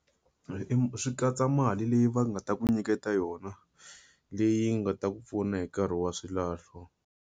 Swi katsa mali leyi va nga ta ku nyiketa yona, leyi yi nga ta ku pfuna hi nkarhi wa swilahlo.